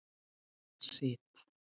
Ég sit.